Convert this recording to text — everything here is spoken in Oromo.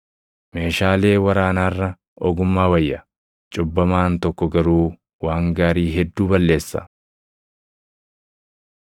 Meeshaalee waraanaa irra ogummaa wayya; cubbamaan tokko garuu waan gaarii hedduu balleessa.